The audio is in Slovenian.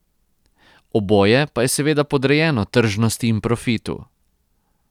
Oboje pa je seveda podrejeno tržnosti in profitu.